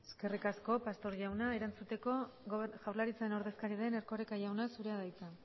eskerrik asko pastor jauna erantzuteko jaurlaritzaren ordezkaria den erkoreka jauna zurea da hitza